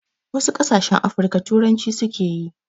Wasu ƙasashen Afirika turanci suke.